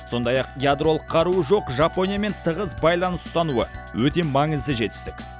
сондай ақ ядролық қаруы жоқ жапониямен тығыз байланыс ұстануы өте маңызды жетістік